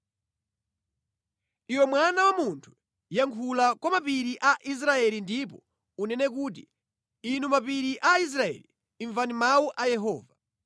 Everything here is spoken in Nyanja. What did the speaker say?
“Iwe mwana wa munthu, yankhula kwa mapiri a Israeli ndipo unene kuti, ‘Inu mapiri a Israeli, imvani mawu a Yehova.’